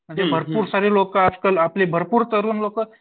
म्हणजे भरपूर असतात म्हणजे भरपूर तरुण लोकं